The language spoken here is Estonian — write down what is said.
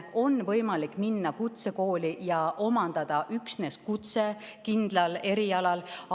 On võimalik minna kutsekooli ja omandada üksnes kutse kindlal erialal.